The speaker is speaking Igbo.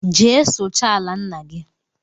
Jee suchaa ala ńnà gị!!